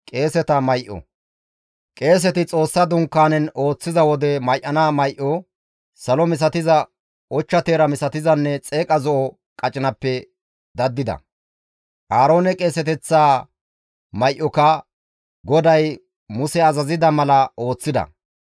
Qeeseti Xoossa Dunkaanen ooththiza wode may7ana may7o, salo misatiza, ochcha teera misatizanne xeeqa zo7o qacinappe daddida. Aaroone qeeseteththaa may7oka GODAY Muse azazida mala ooththida.